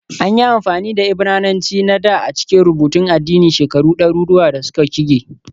An yi amfani da Ibrananci na dā a cikin rubutun addini shekaru ɗaruruwan da suka shige